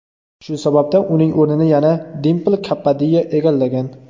Shu sababdan uning o‘rnini yana Dimpl Kapadiya egallagan.